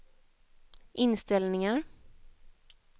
inställningar